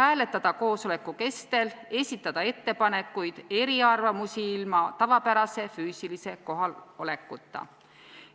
hääletada koosoleku kestel, esitada ettepanekuid ja eriarvamusi ilma tavapärase füüsilise kohalolekuta.